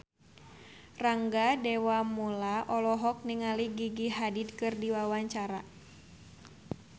Rangga Dewamoela olohok ningali Gigi Hadid keur diwawancara